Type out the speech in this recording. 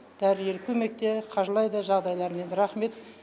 дәрігер көмек те қаржылай да жағдайларымен рахмет